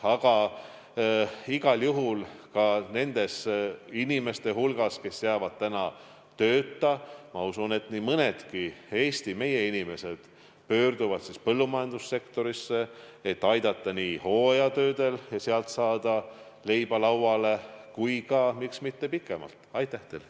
Aga igal juhul ka nende Eesti inimeste hulgast, kes jäävad praegu tööta, ma usun, nii mõnedki pöörduvad põllumajandussektorisse, et aidata kaasa hooajatöödel ja saada sealt leib lauale, aga miks mitte teha seal tööd ka pikemalt.